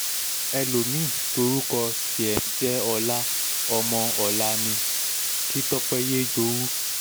ẹlòmí-ín tórúkọ um tiẹ̀ ń jẹ́ ọlá ọmọ ọ̀la ni um kí tọ́pẹ́ yéé jowú